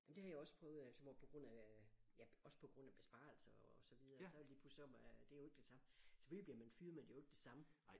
Jamen det har jeg også prøvet altså hvor på grund af ja også på grund af besparelser og så videre så lige pludselig så man det er jo ikke det samme selvfølgelig bliver man fyret men det er jo ikke det samme